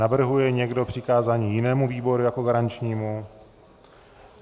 Navrhuje někdo přikázání jinému výboru jako garančnímu?